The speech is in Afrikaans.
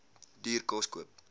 duur kos koop